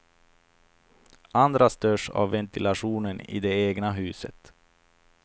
Andra störs av ventilationen i det egna huset.